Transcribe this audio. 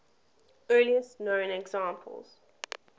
earliest known examples